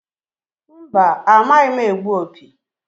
Mba! Amaghị m egbu opi.